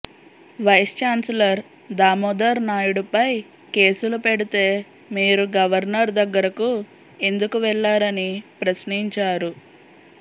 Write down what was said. vice chancellor Damodar నాయుడుపై కేసులు పెడితే మీరు గవర్నర్ దగ్గరకు ఎందుకు వెళ్లారని ప్రశ్నించారు